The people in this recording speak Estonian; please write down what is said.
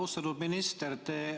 Austatud minister!